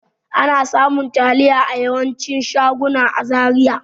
Ana samun taliya a yawancin shaguna a Zaria.